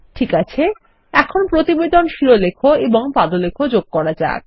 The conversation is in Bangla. ঠিক আছে এখন প্রতিবেদন শিরলেখ এবং পাদলেখ যোগ করা যাক